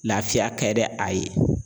Lafiya ka di a ye